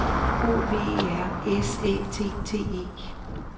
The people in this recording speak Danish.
O V E R S Æ T T E